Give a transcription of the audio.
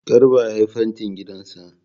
Garba ya yi fantin gidan sa